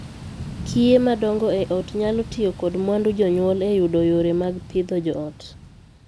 Kiye madongo ei ot nyalo tiyo kod mwandu jonyuol e yudo yore mag pidho joot.